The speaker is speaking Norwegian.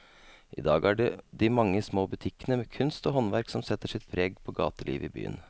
I dag er det de mange små butikkene med kunst og håndverk som setter sitt preg på gatelivet i byen.